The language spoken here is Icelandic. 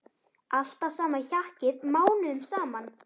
Alltaf sama hjakkið mánuðum saman!